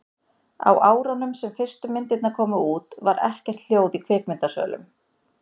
á árunum sem fyrstu myndirnar komu út var ekkert hljóð í kvikmyndasölunum